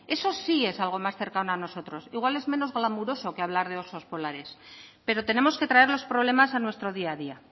eso sí es algo más cercano a nosotros igual es menos glamuroso que hablar de osos polares pero tenemos que traer los problemas a nuestro día a día